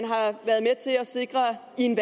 til at sikre i en